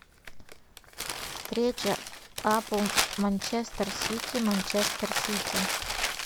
встреча апл манчестер сити манчестер сити